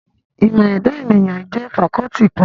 Ìmọ̀ ẹ̀dà ènìyàn jẹ́ fakọ́ọ́tì kan.